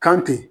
Kan ten